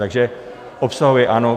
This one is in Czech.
Takže obsahově ano.